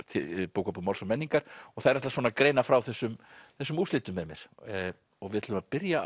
bókabúð Máls og menningar þær ætla að greina frá þessum þessum úrslitum með mér við ætlum að byrja